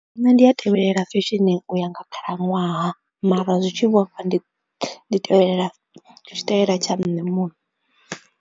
Nṋe ndi a tevhelela fisheni u ya nga khalaṅwaha mara zwi tshi vhofha ndi tevhelela tshitaela tsha nṋe muṋe.